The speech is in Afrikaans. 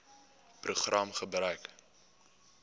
program gebruik